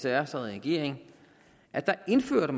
r sad i regering indførte